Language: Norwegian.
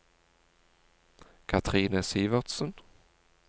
Kathrine Sivertsen